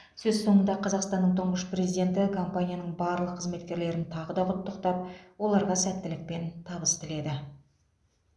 сөз соңында қазақстанның тұңғыш президенті компанияның барлық қызметкерлерін тағы да құттықтап оларға сәттілік пен табыс тіледі